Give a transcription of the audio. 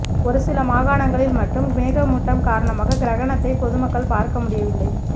ஒருசில மாகாணங்களில் மட்டும் மேகமூட்டம் காரணமாக கிரகணத்தை பொதுமக்கள் பார்க்க முடியவில்லை